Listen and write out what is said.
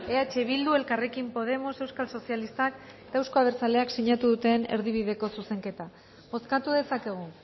eh bildu elkarrekin podemos euskal sozialistak euzko abertzaleak sinatu duten erdibideko zuzenketa bozkatu dezakegu